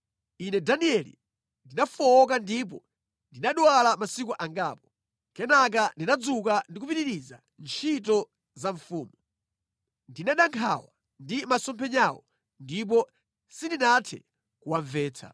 Ine Danieli ndinafowoka ndipo ndinadwala masiku angapo. Kenaka ndinadzuka ndi kupitiriza ntchito za mfumu. Ndinada nkhawa ndi masomphenyawo; ndipo sindinathe kuwamvetsa.